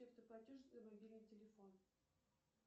платеж за мобильный телефон